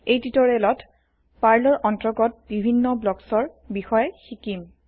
এই টিউটৰিয়েলত পাৰ্লৰ অন্তৰ্গত বিভিন্ন ব্লকছৰ ব্লকছ বিষয়ে শিকিম